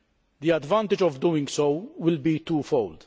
The advantage of doing so will be twofold.